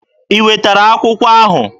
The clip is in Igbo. I wetara akwụkwọ ahụ?